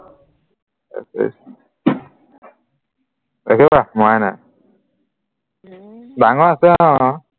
ৰখিবা মৰাই নাই ডাঙৰ আছে অ